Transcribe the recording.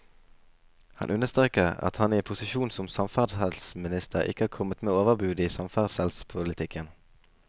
Han understreker at han i posisjonen som samferdselsminister ikke har kommet med overbud i samferdselspolitikken.